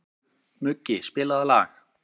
Muggi, spilaðu lag.